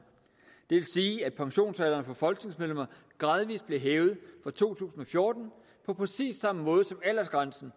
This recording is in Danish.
det vil sige at pensionsalderen for folketingsmedlemmer gradvist bliver hævet fra to tusind og fjorten på præcis samme måde som aldersgrænsen